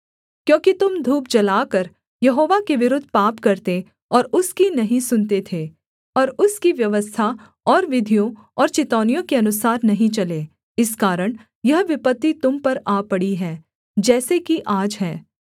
क्योंकि तुम धूप जलाकर यहोवा के विरुद्ध पाप करते और उसकी नहीं सुनते थे और उसकी व्यवस्था और विधियों और चितौनियों के अनुसार नहीं चले इस कारण यह विपत्ति तुम पर आ पड़ी है जैसे कि आज है